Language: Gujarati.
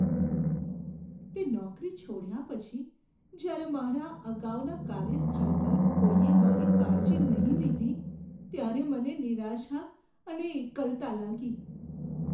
તે નોકરી છોડ્યા પછી જ્યારે મારા અગાઉના કાર્યસ્થળ પર કોઈએ મારી કાળજી નહીં લીધી ત્યારે મને નિરાશા અને એકલતા લાગી.